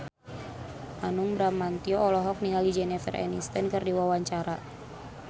Hanung Bramantyo olohok ningali Jennifer Aniston keur diwawancara